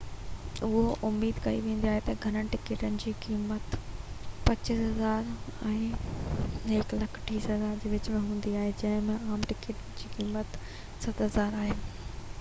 اهو اميد ڪئي ويندي آهي تہ گهڻن ٽڪيٽن جي قيمت ¥2,500 ۽ ¥130,000 جي وچ م هوندي جنهن ۾ عام ٽڪيٽن جي قيمت ¥7,000 آهي